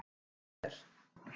En hjá þér?